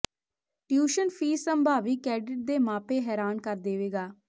tuition fee ਸੰਭਾਵੀ cadet ਦੇ ਮਾਪੇ ਹੈਰਾਨ ਕਰ ਦੇਵੇਗਾ